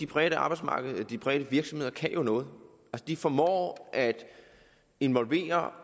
private arbejdsmarked der de private virksomheder kan noget de formår at involvere